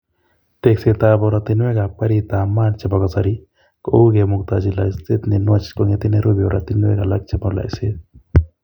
Tekseetab oratinweekab gariitab maat chebo kasari kou kemuktochi loiseet ne nwach kong'ete Nairobi oratinweek alak chebo loiseet.